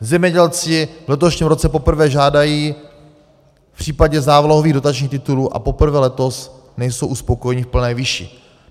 Zemědělci v letošním roce poprvé žádají v případě závlahových dotačních titulů a poprvé letos nejsou uspokojeni v plné výši.